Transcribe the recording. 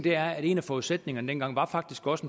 er at en af forudsætningerne dengang faktisk også